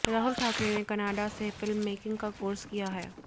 राहुल ठाकरे ने कनाडा से फिल्ममेकिंग का कोर्स किया हैं